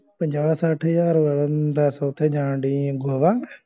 ਪੰਜਾਹ ਸੱਠ ਹਜਾਰ ਦਸ ਓਥੇ ਜਾਣ ਡੇਈ ਏ ਗੋਵਾ